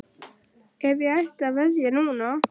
Ef ég ætti að veðja núna?